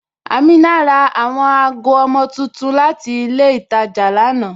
Amina ra awọn agọ ọmọ tuntun láti ilẹ̀ Ìtàjà lánà.